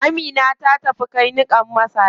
Amina ta tafi kai niƙan masara.